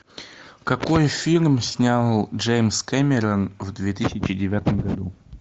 какой фильм снял джеймс кэмерон в две тысячи девятом году